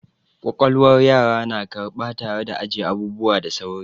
Ƙwaƙwalwar yara na karɓa tare da ajiye abubuwa da sauri.